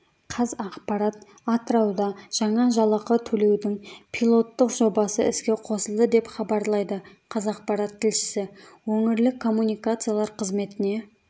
қазақпарат атырауда жаңа жалақы төлеудің пилоттық жобасы іске қосылды деп хабарлайды қазақпарат тілшісі өңірлік коммуникациялар қызметіне